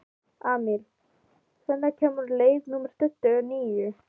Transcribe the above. Amil, hvenær kemur leið númer tuttugu og níu?